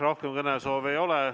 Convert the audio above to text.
Rohkem kõnesoove ei ole.